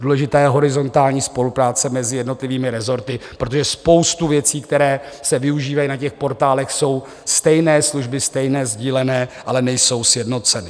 Důležitá je horizontální spolupráce mezi jednotlivými resorty, protože spousta věcí, které se využívají na těch portálech, jsou stejné služby, stejné sdílené, ale nejsou sjednocené.